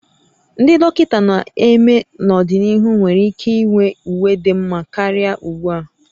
Ndị dọkịta na-eme n'ọdịnihu nwere ike inwe uwe dị mma karịa ugbu a